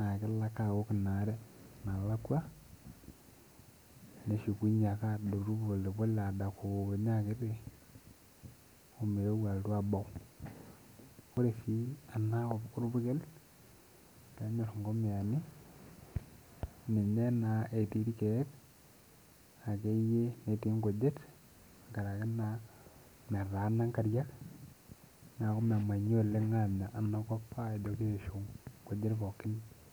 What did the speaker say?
naa kelo ake awok ina are nalakua neshukunyie ake alotu pole pole[ccs] adakunye akiti omeu alotu abau ore sii enakop orpurkel peenyorr inkomiyani ninye naa etii irkeek akeyie netii inkujit nkarake naa metaana inkariak niaku memamyi oleng anya enakop ajo kiishu inkujit pookin.